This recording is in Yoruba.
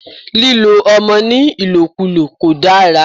Lílo ọmọ ní ìlòkúlò kò dára.